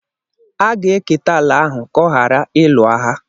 a ga-eketa ala ahụ ka ọ ghara ịlụ agha.